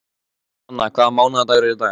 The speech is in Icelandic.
Sanna, hvaða mánaðardagur er í dag?